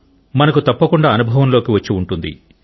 మనకు తప్పకుండ అనుభవంలోకి వచ్చి ఉంటుంది